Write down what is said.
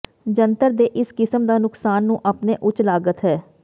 ਜੰਤਰ ਦੇ ਇਸ ਕਿਸਮ ਦਾ ਨੁਕਸਾਨ ਨੂੰ ਆਪਣੇ ਉੱਚ ਲਾਗਤ ਹੈ